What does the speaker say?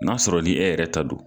N'a sɔrɔ ni e yɛrɛ ta don